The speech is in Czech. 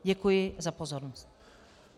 Děkuji za pozornost.